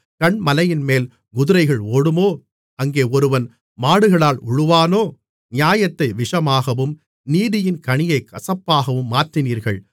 கன்மலையின்மேல் குதிரைகள் ஓடுமோ அங்கே ஒருவன் மாடுகளால் உழுவானோ நியாயத்தை விஷமாகவும் நீதியின் கனியைக் கசப்பாகவும் மாற்றினீர்கள்